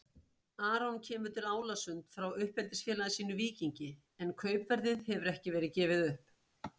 Aron kemur til Álasund frá uppeldisfélagi sínu Víkingi en kaupverðið hefur ekki verið gefið upp.